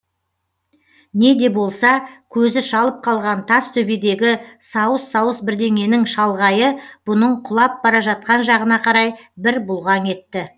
не де болса көзі шалып қалған тас төбедегі сауыс сауыс бірдеңенің шалғайы бұның құлап бара жатқан жағына қарай бір бұлғаң етті